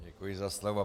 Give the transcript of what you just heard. Děkuji za slovo.